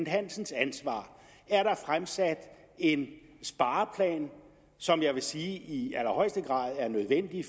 hansens ansvar er der fremsat en spareplan som jeg vil sige i allerhøjeste grad er nødvendig